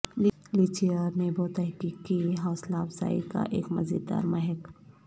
لیچی اور نیبو تحقیق کی حوصلہ افزائی کا ایک مزیدار مہک